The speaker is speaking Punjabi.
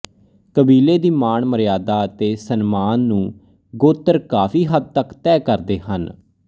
ਕਬੀਲੇ ਦੀ ਮਾਣ ਮਰਿਆਦਾ ਅਤੇ ਸਨਮਾਨ ਨੂੰ ਗੋਤਰ ਕਾਫ਼ੀ ਹੱਦ ਤਕ ਤੈਅ ਕਰਦੇ ਹਨ